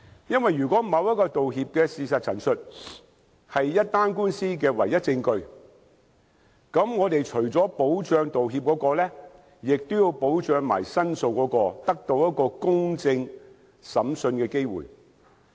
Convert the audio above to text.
因為如果某項道歉的事實陳述是一宗官司的唯一證據，則我們除了要保障道歉人外，亦要保障申訴人得到公正審訊的機會。